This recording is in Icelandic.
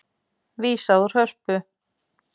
Vísað úr Hörpu